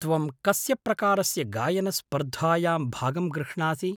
त्वं कस्य प्रकारस्य गायनस्पर्धायां भागं गृह्णासि?